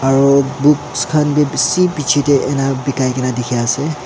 aro books khan bi bishi piche te ana bikai kena dekhi ase.